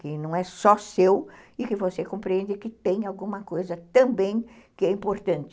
Que não é só seu e que você compreende que tem alguma coisa também que é importante.